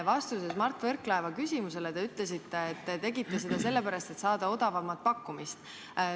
Vastuses Mart Võrklaeva küsimusele te ütlesite, et te tegite seda sellepärast, et saada odavama pakkumise.